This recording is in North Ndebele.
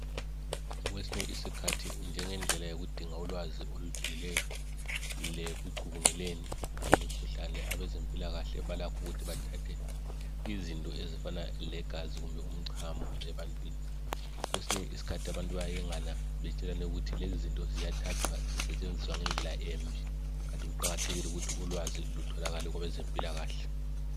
Kwesinye isikhathi njengendlela yokudinga ulwazi ejulileyo lekucubunguleni ngemikhuhlane abezempilakahle balakhu ukuthi bathathe izinto ezifana legazi kumbe umchamo ebantwini kwesinye isikhathi abantu bayayengana betshelane ukuthi lezo zinto ziyathathwa zisetshenziswa ngendlela embi kanti kuqakathekile ukuthi ulwazi lutholakale kwabezempilakahle.